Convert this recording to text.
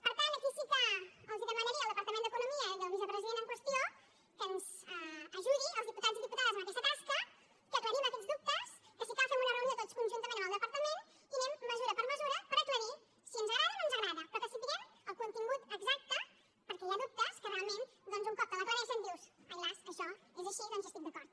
per tant aquí sí que els demanaria al departament d’economia i al vicepresident en qüestió que ens ajudi als diputats i diputades en aquesta tasca que aclarim aquests dubtes que si cal fem una reunió tots conjuntament amb el departament i anem mesura per mesura per aclarir si ens agrada o no ens agrada però que en sapiguem el contingut exacte perquè hi ha dubtes que realment doncs un cop te’ls aclareixen dius ai las això és així doncs hi estic d’acord